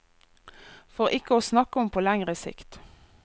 For ikke å snakke om på lengre sikt.